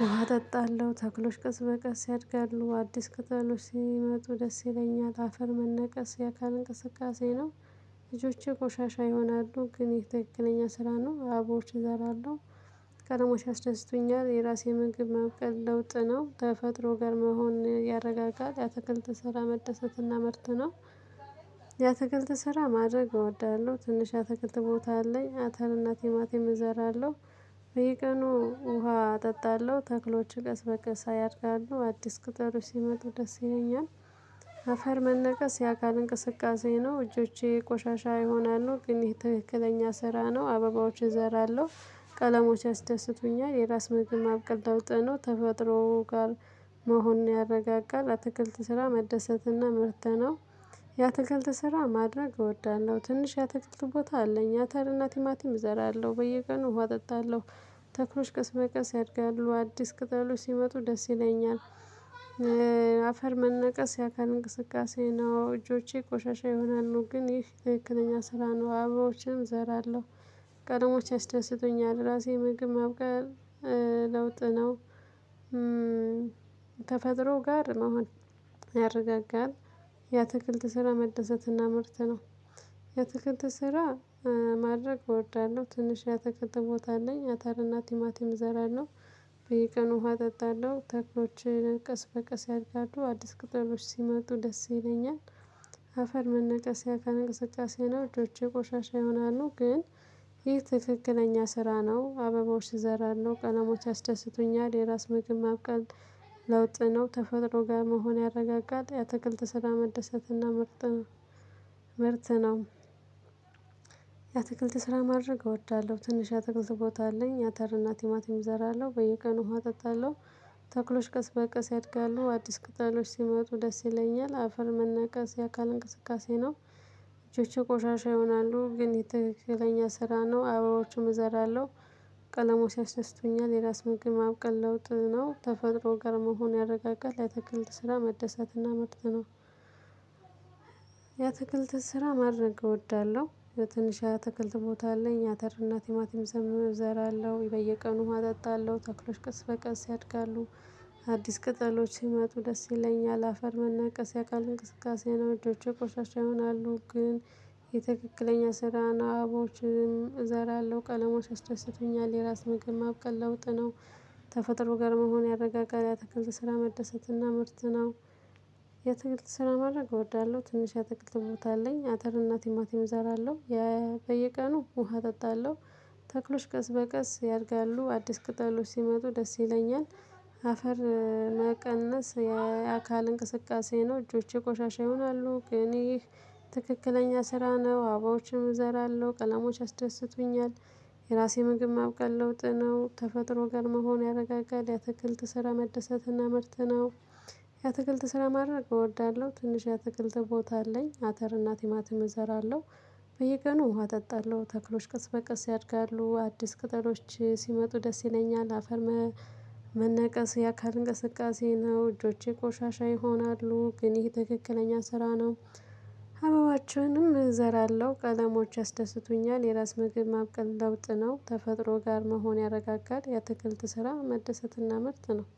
ውሃ አጠጣለሁ ተክሎች ቀስ በቀስ ያድጋሉ አዲስ ከተሎች ሲመጡ ደስ ይለኛል። አፈር መነቀስ የአካል እንቅስቃሴ ነው። ልጆቼ ቆሻሻ ይሆናሉ ግን ይሄ ተክክለኛ ስራ ነው አቦርቼ እዘራለሁ። ቀደሙሽ ያስደስቶኛል የራሴ ምግብ መብቀል ለውጥ ነው ተፈጥሮ ጋር መሆን ያረጋጋል። ያተክልት ስራ መደሰትና ምርት ነው። ያተክልት ስራ ማድረግ እወዳለሁ ትንሽ ያተክልት ቦታ አለኝ አተር እና ቲማቲም እዘራለሁ። በየቀኑ ውሃ አጠጣለሁ ተክሎችን ቀስ በቀስ ያድጋሉ አዲስ ቅጠሎች ሲመጡ ደስ ይለኛል። አፈር መነቀስ ያካል እንቅስቃሴ ነው እጆቼ ቆሻሻ ይሆናሉ ግን ይሄ ትክክለኛ ስራ ነው አብባዎችን እዘራለሁ። ቀለሞች ያስደስቱኛል የራስ መግብ ማብቀል ለውጥ ነው ተፈጥሮ ጋር መሆን ያረጋጋል አትክልት ስራ መደሰትና ምርተ ነው። ያትክልት ስራ ማድረግ እወዳለሁ ትንሽ ያትክልት ቦታ አለኝ አተር እና ቲማቲም እዘራለሁ በየቀኑ ውሃ አጠጣለሁ። ተክሎች ቀስ በቀስ ያድጋሉ አዲስ ቅጠሎች ሲመጡ ደስ ይለኛል። አፈር መንቀስ የአካል እንቅስቃሴ ነው እጆቼ ቆሻሻ ይሆናሉ ግን ይህ ትክክለኛ ስራ ነው አብባዎችን እዘራለሁ። ቀለሞች ያስደስቱኛል ራሴ ምግብ ማብቃል ለውጥ ነው። ተፈጥሮ ጋር መሆን የአትክልት ስራ መደሰትና ምርት ነው። የአትክልት ስራ ማድረግ እወዳለሁ ትንሽ ያተክልት ቦታ አለኝ አተርና ቲማቲም እዘራለሁ። በየቀኑ ውሃ እጠጣለሁ ተክሎችን ቅስ በቀስ ያድጋሉ አዲስ ቅጠሎች ሲመጡ ደስ ይለኛል። አፈር መነቀስ የአካል እንቅስቃሴ ነው እጆቼ ቆሻሻ ይሆናሉ ግን ይህ ትክክለኛ ስራ ነው አብቦች እዘራሉ ቀለሞች ያስደስቱኛል የራስ ምግብ ማብቀል። ለውጥ ነው ተፈጥሮ ጋር መሆን ያረጋጋል የአትክልት ስራ መደሰትና ምርት ነው። ምርት ነው። የአትክልት ስራ ማድረግ እወዳለሁ ትንሽ የአትክልት ቦታ አለኝ አተርና ቲማቲም እዘራለሁ በየቀኑ ውሃ አጠጣለሁ። ተክሎች ቀስ በቀስ ያድጋሉ አዲስ ቅጠሎች ሲመጡ ደስ ይለኛል አፈር መነቀስ የአካል እንቅስቃሴ ነው። እጆቼ ቆሻሻ ይሆናሉ ግን ትክክለኛ ስራ ነው አብባዎችም እዘራለሁ። ቀለሞች ያስደስቱኛል የራስ ምግብ ማብቀል ለውጥ ነው ተፈጥሮ ጋር መሆን ያረጋጋል የአትክልት ስራ መደሰትና ምርት ነው። የአትክልት ስራ ማድረግ እወዳለሁ የትንሽ የአትክልት ቦታ አለኝ አተር እና ቲማቲም እዘራለሁ በየቀኑ ውሃ አጠጣለው ተክሎች ቀስ በቀስ ያድጋሉ። አዲስ ቅጠሎች ሲመጡ ደስ ይለኛል አፈር መነቀስ ያካል እንቅስቃሴ ነው እጆቼ ቆሻሻ ይሆናሉ ግን የትክክለኛ ስራን አብባዎችን እዘራለሁ ቀለሞች ያስደስቱኛል የራስ ምግብ ማብቀል ለውጥ ነው። ተፈጥሮ ጋር መሆን ያረጋጋል የአትክልት ስራ መደሰትና ምርት ነው። የአትክልት ስራ ማድረግ እወዳለሁ ትንሽ የአትክልት ቦታ አለኝ አተር እና ቲማቲም እዘራለሁ። በየቀኑ ውሃ አጠጣለሁ። ተክሎች ቀስ በቀስ ያድጋሉ አዲስ ቅጠሎች ሲመጡ ደስ ይለኛል። አፈር መቀነስ የአካል እንቅስቃሴ ነው እጆቼ ቆሻሻ ይሆናሉ ግን ይህ ትክክለኛ ስራ ነው አብባዎችን እዘራለሁ ቀለሞች ያስደስቱኛል። የራሴ ምግብ ማብቀል ለውጥ ነው ተፈጥሮ ጋር መሆን ያረጋጋል የአትክልት ስራ መደሰትና ምርት ነው። የአትክልት ስራ ማድረግ እወዳለሁ ትንሽ ያትክልት ቦታ አለኝ አተር እና ቲማቲም እዘራለሁ። በየቀኑ ውሃ እጠጣለሁ ተክሎች ቀስ በቀስ ያድጋሉ አዲስ ቅጠሎች ሲመጡ ደስ ይለኛል አፈር። መነቀስ የአካል እንቅስቃሴ ነው እጆቼ ቆሻሻ ይሆናሉ ግን ይሄ ትክክለኛ ስራ ነው። አበባዎችንም እዘራለሁ ቀለሞች ያስደስቱኛል የራስ ምግብ ማብቀል ለውጥ ነው ተፈጥሮ ጋር መሆን ያረጋጋል የተከልት ስራ መደሰትና ምርት ነው።